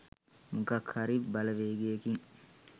මොකක් හරි බලවේගයකින්